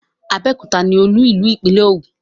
Abẹ́òkúta ni olú ìlú ìpínlẹ̀ Ògùn.